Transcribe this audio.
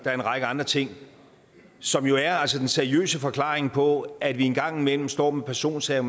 er en række andre ting som jo er den seriøse forklaring på at vi engang imellem står med personsager